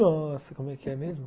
Nossa, como é que é mesmo?